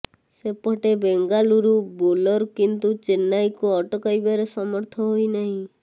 ସେପଟେ ବେଙ୍ଗାଲୁରୁ ବୋଲର କିନ୍ତୁ ଚେନ୍ନାଇକୁ ଅଟକାଇବାରେ ସମର୍ଥ ହୋଇନାହାନ୍ତି